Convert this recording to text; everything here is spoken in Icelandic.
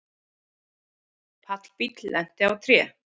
Pallbíll lenti á tré